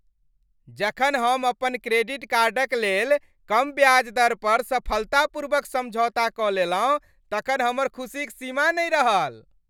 जखन हम अपन क्रेडिट कार्डक लेल कम ब्याज दर पर सफलतापूर्वक समझौता कऽ लेलहुँ तखन हमर खुसीक सीमा नहि रहल।